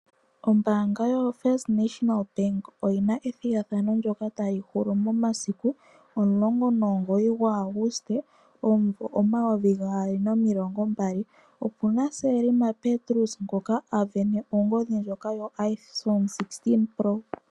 Ombaanga yoFirst National Bank oyi na ethigathano ndyoka tali hulu momasiku 19 Auguste 2020. Opu na Selma Petrus ngoka a sindana ongodhi ndjoka yoIphone 16 Pro.